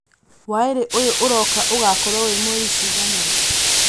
waīri ūyū ūroka ūgakuorwo wī mweri cigana